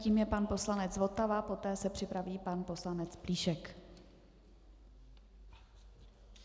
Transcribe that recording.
Tím je pan poslanec Votava, poté se připraví pan poslanec Plíšek.